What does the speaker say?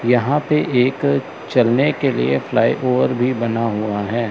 यहां पे एक चलने के लिए फ्लाईओवर भी बना हुआ है।